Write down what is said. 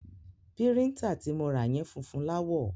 Píríńtà ti mo ra yẹn funfun láwọ̀.